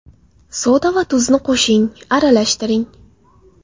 Soda va tuzni qo‘shing, aralashtiring.